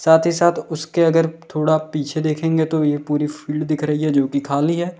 साथ ही साथ उसके अगर थोड़ा पीछे देखेंगे तो ये पूरी फील्ड दिख रही है जोकि खाली है।